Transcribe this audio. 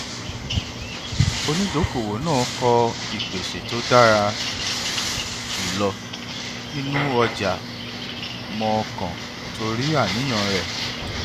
onídokoowó náà kọ ìpèsè tó dára jùlọ nínú ọjà mọọkàn torí àníyàn rẹ